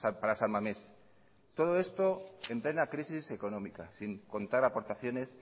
para san mamés todo esto en plena crisis económica sin contar aportaciones